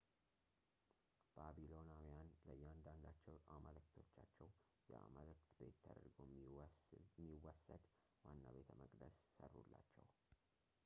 ባቢሎናውያን ለእያንዳንዳቸው አማልክቶቻቸው የአማልክት ቤት ተደርጎ የሚወሰድ ዋና ቤተመቅደስ ሠሩላቸው